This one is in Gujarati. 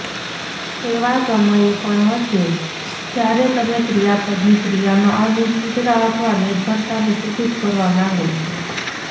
એવા સમયે પણ હશે જ્યારે તમે ક્રિયાપદની ક્રિયામાં અનિશ્ચિતતા અથવા નિર્ભરતાને સૂચિત કરવા માંગો છો